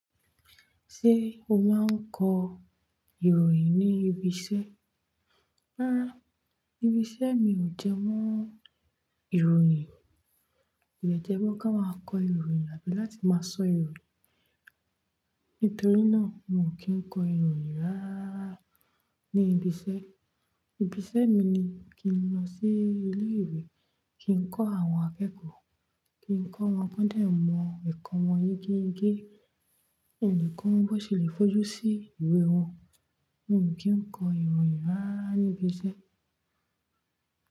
Ṣé o máa ń kọ ìròyìn ní ibi iṣẹ́? Rárá, ibi iṣẹ́ mi ò jẹ mọ́ ìròyìn. Ìjẹ́ wo ká máa kọ ìròyìn àbí láti máa sọ ìròyìn. Nítorí náà, n ò kí ń kọ ìròyìn rárá ní ibi iṣẹ́. Ibi iṣẹ́ mi ni kí n lọ sí ilé ìwé, kí n kọ́ àwọn akẹ́kọ̀ọ́, kí n kọ́ wọn kan dẹ mọ ẹ̀kọ́ wọn yegé yegé, in dẹ ko wọn bọ ṣe lè fojú sí ìwé wọn. N ò kí ń kọ ìròyìn rárá ní ibi iṣẹ́.